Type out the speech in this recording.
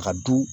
A ka du